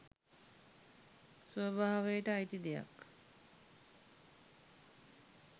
ස්වභාවයට අයිති දෙයක්